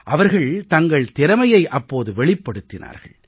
அவர்கள் தங்கள் திறமையை அப்போது வெளிப்படுத்தினார்கள்